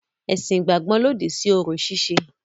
Ẹ̀sìn ìgbàgbọ́ lòdì sí orò ṣíṣe.